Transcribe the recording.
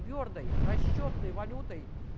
твёрдой расчётной валютой